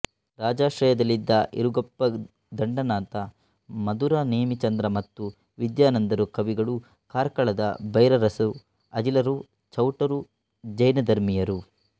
ರಾಜಾಶ್ರಯದಲ್ಲಿದ್ದ ಇರುಗಪ್ಪ ದಂಡನಾಥ ಮಧುರ ನೇಮಿಚಂದ್ರ ಮತ್ತು ವಿದ್ಯಾನಂದರು ಕವಿಗಳು ಕಾರ್ಕಳದ ಭೈರರಸರು ಅಜಿಲರು ಚೌಟರು ಜೈನಧರ್ಮೀಯರು